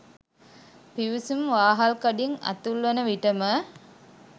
පිවිසුම් වාහල්කඩින් ඇතුල් වන විටම